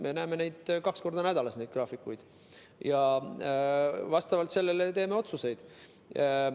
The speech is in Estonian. Me näeme kaks korda nädalas neid graafikuid ja vastavalt sellele teeme otsuseid.